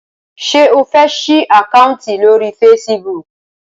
ṣe o fè sí Àkáùntì lórí Facebook?